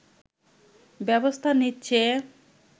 ব্যবস্থা নিচ্ছে